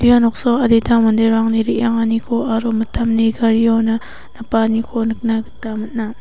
ia noksao adita manderangni re·anganiko aro mitamni gariona napanganiko nikna gita man·a.